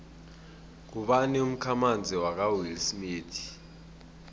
ngubani umkhamanzi kawillsmith